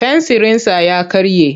Fensirinsa ya karye.